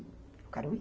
Eu quero ir.